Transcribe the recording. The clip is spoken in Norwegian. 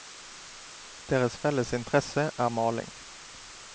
Deres felles interesse er maling.